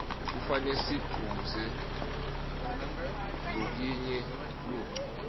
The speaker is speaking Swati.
kufane sikuquze lokinye ludca